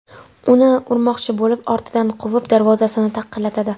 uni urmoqchi bo‘lib ortidan quvib, darvozasini taqillatadi.